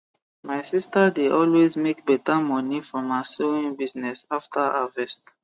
my sister de always make beta moni from her sewing business after harvest